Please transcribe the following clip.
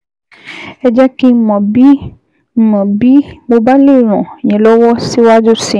Ẹ jẹ́ kí n mọ̀ bí n mọ̀ bí mo bá lè ràn yín lọ́wọ́ síwájú sí i